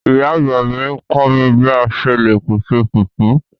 Ìyá àgbà mi kọ mi bi a ṣe le pese fufu